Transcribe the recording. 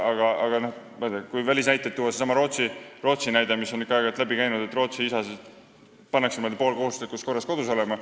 Aga kui välismaalt näiteid tuua, siis aeg-ajalt on ikka läbi käinud Rootsi, kus isad peavad poolkohustuslikus korras kodus olema.